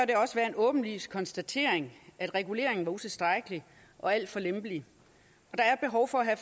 det også være en åbenlys konstatering at reguleringen var utilstrækkelig og alt for lempelig der er behov for at